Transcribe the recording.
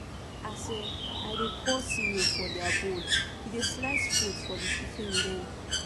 as um i dey pour cereal for their bowl e dey slice fruit for the pikin dem